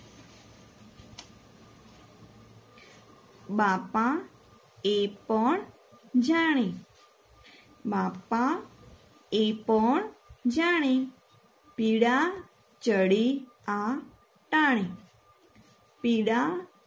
બાપા એ પણ જાણે બાપા એ પણ જાણે પીળા ચળી આ ટાણે પીળા